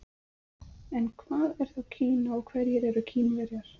En hvað er þá Kína og hverjir eru Kínverjar?